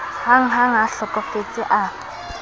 hahang ha a hlokofetse a